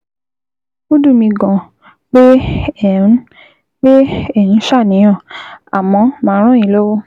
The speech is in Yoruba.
Ó dùn mí gan-an pé ẹ ń pé ẹ ń ṣàníyàn, àmọ́ màá ràn yín lọ́wọ́